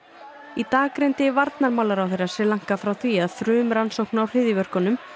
í dag greindi varnarmálaráðherra Sri Lanka frá því að frumrannsókn á hryðjuverkunum